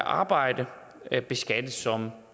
arbejdet beskattes som